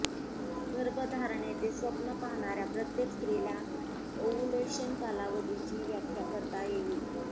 गर्भधारणेचे स्वप्न पाहणार्या प्रत्येक स्त्रीला ओव्हुलेशन कालावधीची व्याख्या करता येईल